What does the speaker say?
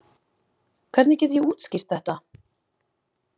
Hvernig get ég útskýrt þetta?